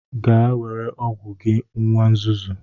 Gaa were ọgwụ gị nwa nzuzu!